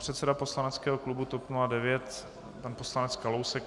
Předseda poslaneckého klubu TOP 09 pan poslanec Kalousek.